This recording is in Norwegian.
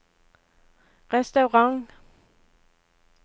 restaurant